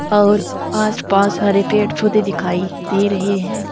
और आसपास हरे पेड़ पौधे दिखाई दे रहे हैं।